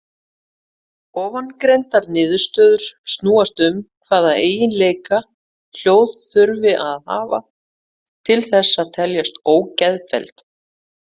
Ofangreindar niðurstöður snúast um hvaða eiginleika hljóð þurfi að hafa til þess að teljast ógeðfelld.